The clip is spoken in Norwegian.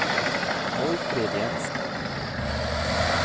Målfrid Jensen